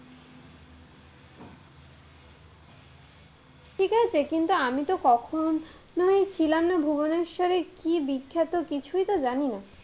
কিন্তু আমি তো কখনোই ছিলাম না ভুবনেশ্বরে, কি বিখ্যাত কিছুই তো জানিনা,